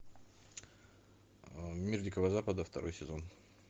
мир дикого запада второй сезон